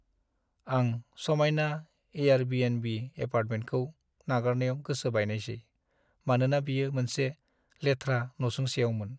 आं समायना एयारबीएनबी एपार्टमेन्टखौ नागारनायाव गोसो बायनायसै, मानोना बेयो मोनसे लेथ्रा नसुंसेआवमोन।